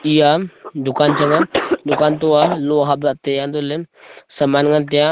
eya a dukan chang a dukan to a loh hap lah e taiya untohley saman ngan taiya.